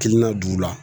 Kiliniina d'u la